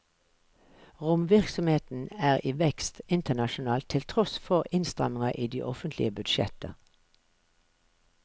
Romvirksomheten er i vekst internasjonalt til tross for innstramninger i de offentlige budsjetter.